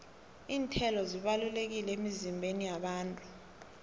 iinthelo zibalulekile emizimbeni yabantu